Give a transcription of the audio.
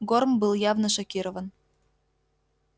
горм был явно шокирован